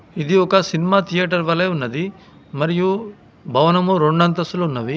ఇది ఒక cinema theatre వలే ఉన్నది మరియు భవనము రెండంతస్తులు ఉన్నవి.